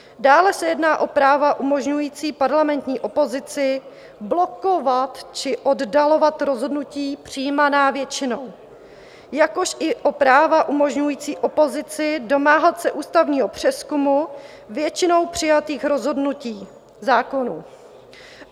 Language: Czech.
Dále se jedná o práva umožňující parlamentní opozici blokovat či oddalovat rozhodnutí přijímaná většinou, jakož i o práva umožňující opozici domáhat se ústavního přezkumu většinou přijatých rozhodnutí, zákonů.